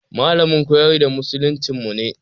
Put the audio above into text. Malamin koyar da musuluncinmu ne.